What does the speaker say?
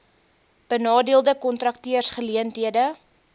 benadeelde kontrakteurs geleenthede